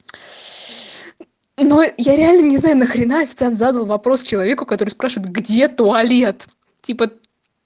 но я реально не знаю нахрена официант задал вопрос человеку который спрашивает где туалет типа